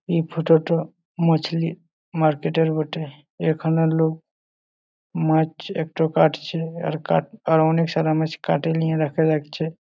এই ফটো টো মাছলি মার্কেট এর বটে এখানে লোক মাছ একটু কাটছে আর কাট আর অনেক সারা মাছ কাটে নিয়ে রাখা লাগছে।